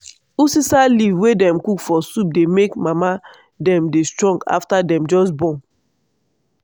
uziza leaf wey dem cook for soup dey make mama dem dey strong afta dem just born.